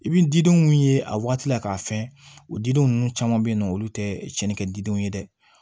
I bi didenw mun ye a wagati la k'a fɛn o didenw caman be yen nɔ olu te cɛnin kɛ didenw ye dɛ